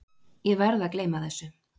Ég verð að gleyma þessu.